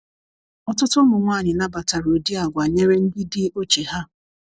ọtụtụ ụmụ nwanyi nnabatara ụdi agwa nyere ndi di oche ha